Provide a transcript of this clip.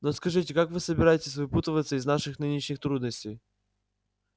но скажите как вы собираетесь выпутываться из наших нынешних трудностей